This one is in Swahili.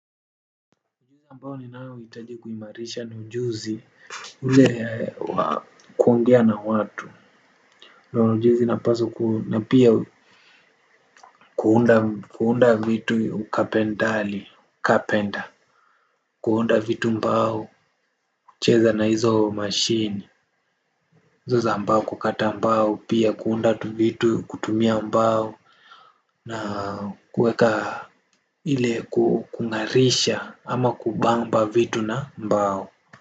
Ambao ninaohitaji kuimarisha ni ujuzi ule wa kuongea na watu. Ni ujuzi napaswa na pia kuunda vitu ukapendali, carpenter. Kuunda vitu mbao cheza na hizo machine hizo za mbao kukata mbao pia kuunda vitu kutumia mbao. Na kuweka ile kung'arisha ama kubamba vitu na mbao.